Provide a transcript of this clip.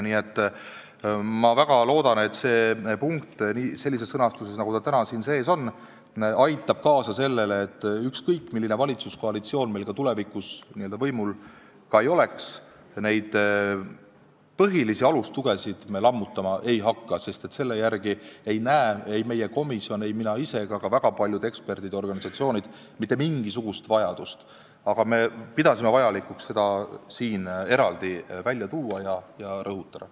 Nii et ma väga loodan, et see punkt sellises sõnastuses, nagu ta täna siin sees on, aitab kaasa sellele, et ükskõik milline valitsuskoalitsioon meil tulevikus võimul ka ei oleks, neid põhilisi alustugesid me lammutama ei hakka, sest selle järele ei näe ei meie komisjon, ei mina ise ega ka väga paljud eksperdid ja organisatsioonid mitte mingisugust vajadust, aga me pidasime vajalikuks seda siin eraldi välja tuua ja rõhutada.